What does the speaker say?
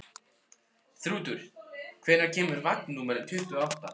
Þrútur, hvenær kemur vagn númer tuttugu og átta?